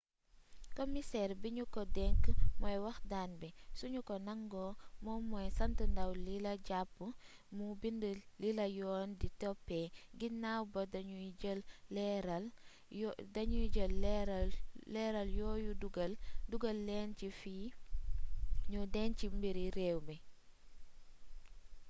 kimiseer bi ñu ko denk mooy wax daan bi su ñu ko nangoo moom mooy sant ndaw lila jàpp mu bind lila yoon di toppee ginaaw ba dañuy jël leeraal yooyu dugal leen ci fi ñuy denc mbiri réew mi